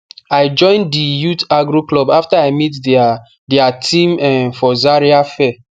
i join di youth agro club afta i meet dia dia team um for zaria fair